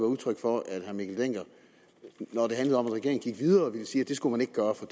udtryk for at herre mikkel dencker når det handlede om at regeringen gik videre ville sige at det skulle man ikke gøre for